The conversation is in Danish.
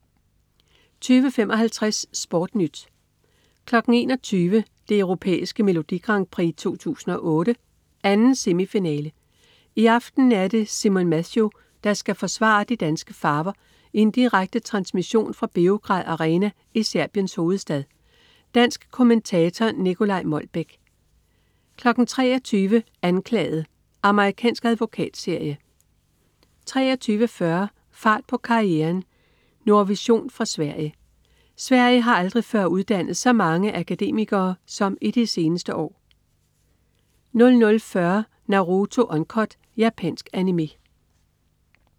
20.55 SportNyt 21.00 Det Europæiske Melodi Grand Prix 2008, 2. semifinale. I aften er det er Simon Mathew, der skal forsvare de danske farver i en direkte transmission fra Beograd Arena i Serbiens hovedstad. Dansk kommentator: Nicolai Molbech 23.00 Anklaget. Amerikansk advokatserie 23.40 Fart på karrieren. Nordvision fra Sverige. Sverige har aldrig før uddannet så mange akademikere som i de seneste år 00.40 Naruto Uncut. Japansk Animé